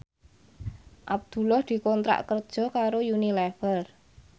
Abdullah dikontrak kerja karo Unilever